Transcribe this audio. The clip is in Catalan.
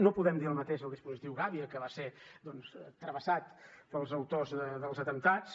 no podem dir el mateix del dispositiu gàbia que va ser doncs travessat pels autors dels atemptats